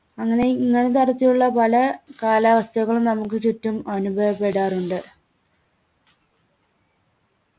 അങ്ങനെ ഇങ്ങനത്തെ അവസ്ഥയിലുള്ള പല കാലാവസ്ഥകളും നമുക്ക് ചുറ്റും അനുഭവപ്പെടാറുണ്ട്